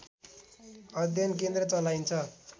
अध्ययन केन्द्र चलाइन्छ